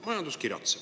Majandus kiratseb.